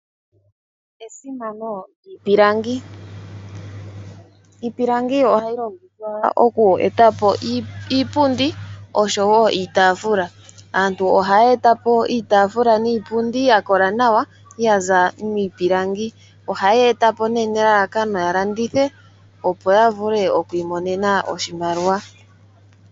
Esimano lyiipilangi, iipilangi oha yi longithwa oku eta po iipundi oshowo iitaafula, aantu oha ya etapo iitaafula niipundi ya kola nawa ya zaa miipilangi, oha ya etapo nee nelalakano ya landithe opo ya vule oku imonena oshimaliwa.